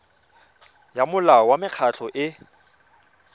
ya molao wa mekgatlho e